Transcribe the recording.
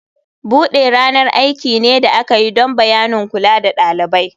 Bude ranar aiki ne da aka yi don bayanin kula da ɗalibai.